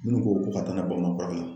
Minnu ko ko ka taa n'a ye baman furakɛ la.